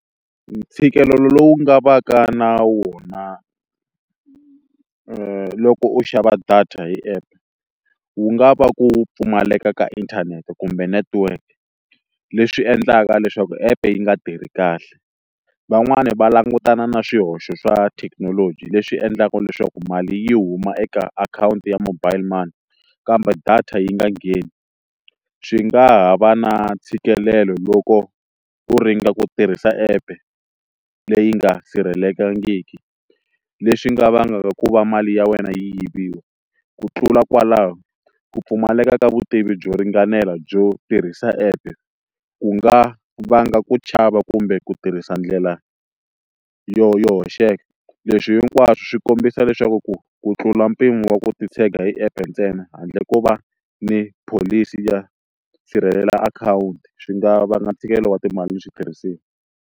Ntshikelelo lowu nga va ka na wona loko u xava data hi app wu nga va ku pfumaleka ka inthanete kumbe network leswi endlaka leswaku app yi nga tirhi kahle, van'wani va langutana na swihoxo swa thekinoloji leswi endlaka leswaku mali yi huma eka akhawunti ya mobile money kambe data yi nga ngheni swi nga ha va na ntshikelelo loko u ringeta ku tirhisa epe leyi nga sirhelelekangiki leswi nga vangaka ku va mali ya wena yi yiviwa, ku tlula kwalaho ku pfumaleka ka vutivi byo ringanela byo tirhisa app ku nga vanga ku chava kumbe ku tirhisa ndlela yo yo hoxeka leswi hinkwaswo swi kombisa leswaku ku ku tlula mpimo wa ku titshega hi app ntsena handle ko va ni pholisi ya sirhelela akhawunti swi nga vanga ntshikelelo wa timali ni switirhisiwa.